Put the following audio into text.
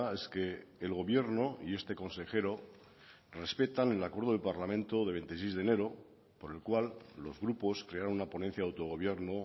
es que el gobierno y este consejero respetan el acuerdo del parlamento de veintiséis de enero por el cual los grupos crearon una ponencia de autogobierno